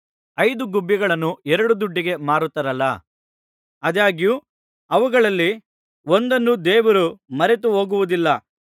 ಐದು ಗುಬ್ಬಿಗಳನ್ನು ಎರಡು ದುಡ್ಡಿಗೆ ಮಾರುತ್ತಾರಲ್ಲ ಆದಾಗ್ಯೂ ಅವುಗಳಲ್ಲಿ ಒಂದನ್ನೂ ದೇವರು ಮರೆತುಹೋಗುವುದಿಲ್ಲ